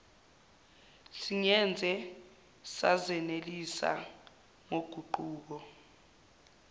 singeze sazenelisa ngoguquko